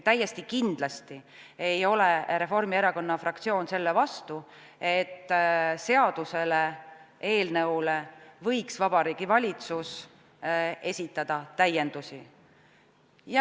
Täiesti kindlasti ei ole Reformierakonna fraktsioon selle vastu, et seaduseelnõu kohta võiks Vabariigi Valitsus esitada täiendusi.